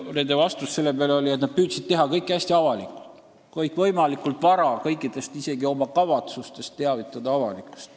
Nende kommentaar selle peale oli, et nad püüdsid teha kõike hästi avalikult, teavitada üldsust võimalikult vara isegi oma kavatsustest.